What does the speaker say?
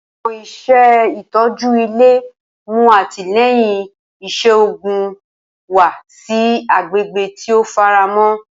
Awọn iṣẹ itọju ile mu atilẹyin iṣoogun wa si agbegbe ti o faramọ.